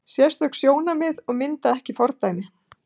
Sérstök sjónarmið og mynda ekki fordæmi